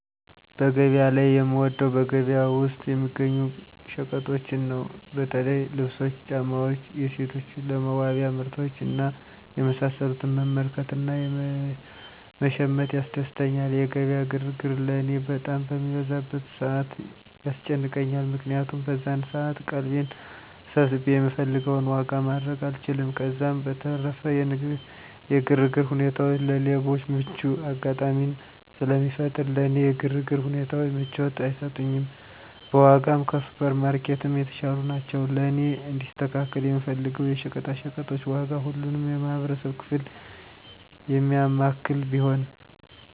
በገበያ ላይ የምወደው በገበያ ውስጥ የሚገኙ ሸቀጦችን ነው። በተለይ ልብሶች፣ ጫማዎች፣ የሴቶች ለመዋቢያ ምርቶች እና የመሳሰሉትን መመልከት እና መሸመት ያስደስተኛል። የገበያ ግርግር ለእኔ በጣም በሚበዛበት ሰዓት ያስጨንቀኛል። ምክንያቱም በዛን ሰዓት ቀልቤን ሰብስቤ የምፈልገውን ዋጋ ማድረግ አልችልም፤ ከዛም በተረፈ የግርግር ሁኔታዎች ለሌቦች ምቹ አጋጣሚን ስለሚፈጥር ለእኔ የግርግር ሁኔታዎች ምቾትን አይሰጡኝም። በዋጋም ከሱፐር ማርኬትም የተሻሉ ናቸው። ለእኔ እንዲስተካከል የምፈልገው የሸቀጣሸቀጦች ዋጋ ሁሉንም የማህበረሰብ ክፍል የሚያማክል ቢሆን።